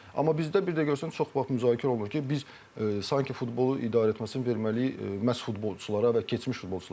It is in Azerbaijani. Amma bizdə bir də görürsən çox vaxt müzakirə olunur ki, biz sanki futbolu idarə etməsini verməliyik məhz futbolçulara və keçmiş futbolçulara.